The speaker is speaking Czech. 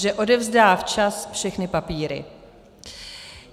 Že odevzdá včas všechny papíry.